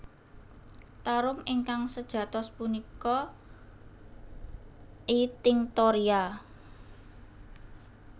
Tarum ingkang sejatos punika I tinctoria